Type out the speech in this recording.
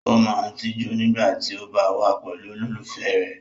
O máa n tijú nígbà tí o ba wa pẹ̀lú olólùfẹ́ rẹ.